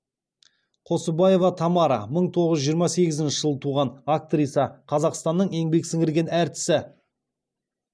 қосыбаева тамара мың тоғыз жүз жиырма сегізінші жылы туған актриса қазақстанның еңбек сіңірген әртісі